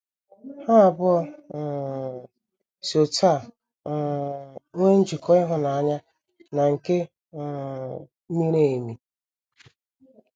Ha abụọ um si otú a um nwee njikọ ịhụnanya na nke um miri emi.